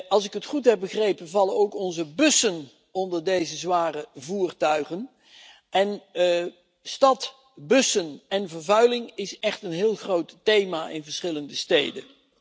Als ik het goed heb begrepen, vallen ook onze bussen onder deze zware voertuigen, en vervuiling door bussen is echt een heel groot thema in verschillende steden.